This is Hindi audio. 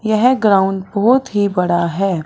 यह ग्राउंड बहोत ही बड़ा है।